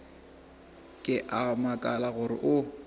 ke a makala gore o